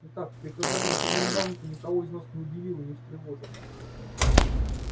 итак приказание коменданта никого из нас не удивило не встревожило